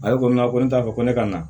Ale ko ko ne t'a fɔ ko ne ka na